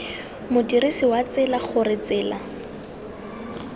modirsi wa tsela gore tsela